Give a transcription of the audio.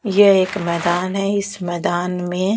यह एक मैदान है इस मैदान में --